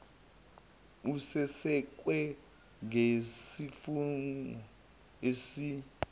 esesekwe ngezifungo ezi